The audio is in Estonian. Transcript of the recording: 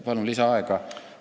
Palun lisaaega!